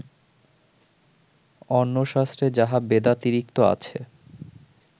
অন্য শাস্ত্রে যাহা বেদাতিরিক্ত আছে